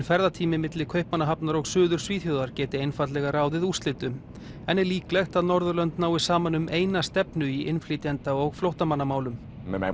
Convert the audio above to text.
ferðatími milli Kaupmannahafnar og Suður Svíþjóðar geti einfaldlega ráðið úrslitum en er líklegt að Norðurlönd nái saman um eina stefnu í innflytjenda og flóttamannamálum ef